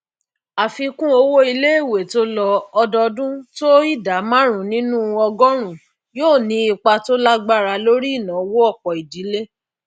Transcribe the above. àfikún owó iléèwé tó lọ ódọọdún tó ìdá márùn nínú ọgọrùn yóò ní ipa tó lágbára lórí ìnáwó ọpọ ìdílé